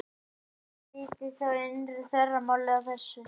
Hlaupvíddin er þá innra þvermálið á þessu röri.